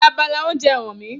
Fi abala oúnjẹ hàn mí!